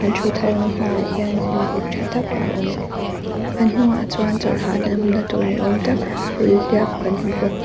an thut hona hma ah hian hnim buk tha tak a awm an hnungah chuan chawlh hahdamna tur ni awm tak hulhliap kan hmu bawk.